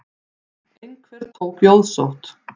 Einhver tók jóðsótt.